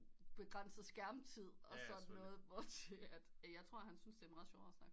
Begrænse skærmtid og sådan noget hvor til jeg tror han syntes det er meget sjovere at snakke